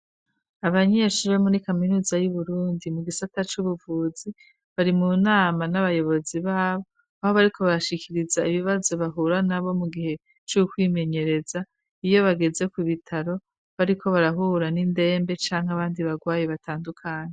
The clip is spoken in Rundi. Abanyeshure bo muri kaminuza y'Uburundi, mu gisata c'ubuvuzi, bari mu nama n'abayobozi babo, aho bariko babashikiriza ibibazo bahura navyo mu gihe c'ukwimenyereza iyo bageze ku bitaro, bariko barahura n'indembe canke abandi bagwayi batandukanye.